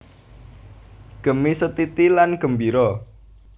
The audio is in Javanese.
Gemi setiti lan gembira